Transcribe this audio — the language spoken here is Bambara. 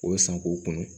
O bɛ san k'u kunun